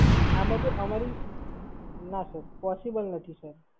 ના Sir possible નથી Sir